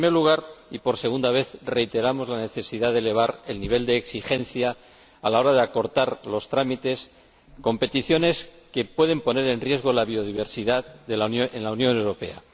En primer lugar, y por segunda vez, reiteramos la necesidad de elevar el nivel de exigencia a la hora de acortar los trámites con peticiones que puedan poner en riesgo la biodiversidad en la Unión Europea.